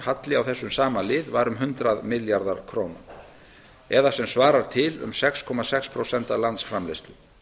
ríkisstarfseminnar á þessum sama lið var um hundrað milljarðar króna það er sem svarar til um sex komma sex prósent af landsframleiðslu